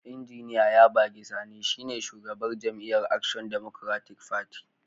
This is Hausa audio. Injiniya Yabagi Sani shine shugaban jam'iyyar Action Democratic Party.